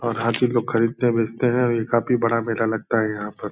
और हाथी लोग को खरीदते हैं बेचते हैं और ये काफी बड़ा मेला लगता है यहाँ पर।